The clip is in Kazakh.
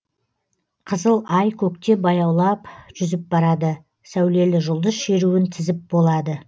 қызыл ай көкте баяулап жүзіп барады сәулелі жұлдыз шеруін тізіп болады